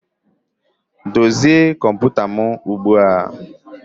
Dozie kọmputa m ugbu a!